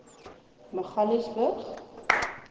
magaliesburg